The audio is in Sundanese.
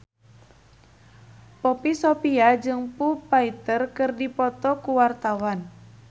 Poppy Sovia jeung Foo Fighter keur dipoto ku wartawan